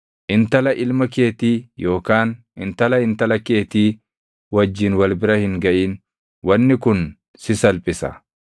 “ ‘Intala ilma keetii yookaan intala intala keetii wajjin wal bira hin gaʼin; wanni kun si salphisa.